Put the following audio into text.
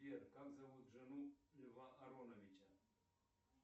сбер как зовут жену льва ароновича